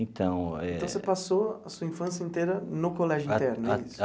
Então eh. Então você passou a sua infância inteira no colégio interno?